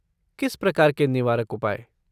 किस प्रकार के निवारक उपाय?